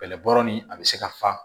Bɛlɛbɔ ni a bɛ se ka fa